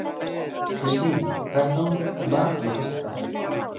Kristlín, hvað er í matinn á föstudaginn?